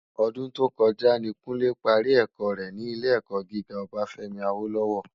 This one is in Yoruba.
Òdún tókòjá ni Kunle pàrí èkò rè ni ilé èkò gigá Obafemi Awolowo